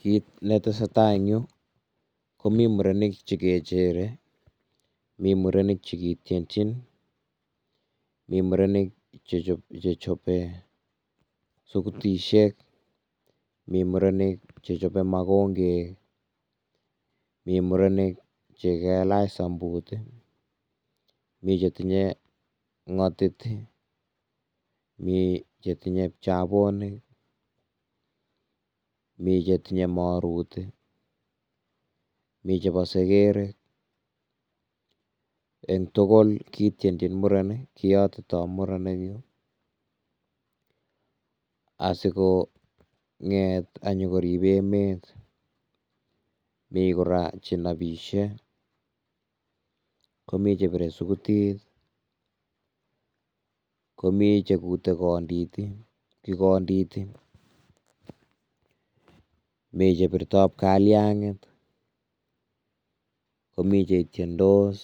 Kit netese tai enn yu ko mi murenik che kechere, mi murenik che ketetyin, mi murenik che chebo sukutisiek, mi murenik che chebo makongek, mi murenik che kailach sambut ii, mi chetihye ngotit ii, mi chetinye pchabonik, mi chetinye morut ii, mi chebo seker ii, eng tugul ketyenchin muren, kiyotito muren, asikonget konyokorib emet, mi kora chenobisie, komi chebire sugutit, komi chekute kondit ii mi chebirto pkalyangit, komi chetyendos,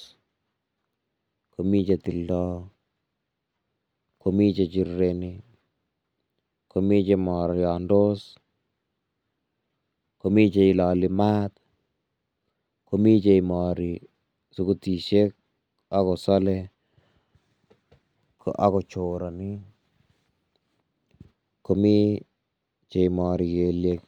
komi chetildo, komi chechirireni, komi chemoryongndos, komi cheiloli maat, komi cheimori sukutisiek ako sole ako choroni komi cheimori kelyek.